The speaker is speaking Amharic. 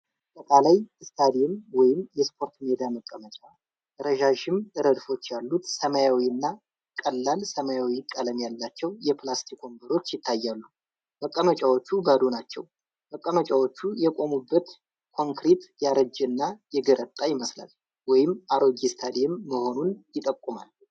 አጠቃላይ: ስታዲየም ወይም የስፖርት ሜዳ መቀመጫ። ረዣዥም ረድፎች ያሉት ሰማያዊ እና ቀላል ሰማያዊ ቀለም ያላቸው የፕላስቲክ ወንበሮች ይታያሉ። መቀመጫዎቹ ባዶ ናቸው። መቀመጫዎቹ የቆሙበት ኮንክሪት ያረጀና የገረጣ ይመስላል፣ ወይም አሮጌ ስታዲየም መሆኑን ይጠቁማል።